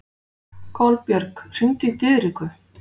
Kolbjörg, hringdu í Diðriku.